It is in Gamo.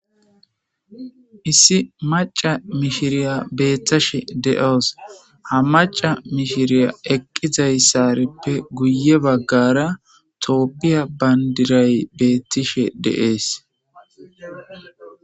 issi maca mishiriya beettashe de7oos ha maca mishiriya eqqizayssarippe guye baggara toopphiya bandiray beettishe deees